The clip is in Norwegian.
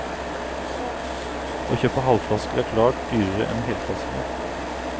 Å kjøpe halvflasker er klart dyrere enn helflaske.